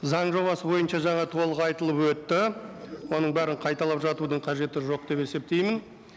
заң жобасы бойынша жаңа толық айтылып өтті оның бәрін қайталап жатудың қажеті жоқ деп есептеймін